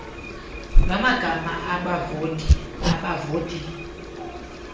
lwamagama abavoti abavoti